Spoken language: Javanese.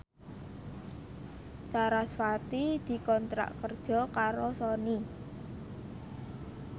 sarasvati dikontrak kerja karo Sony